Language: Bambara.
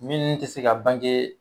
Minni tɛ se ka bange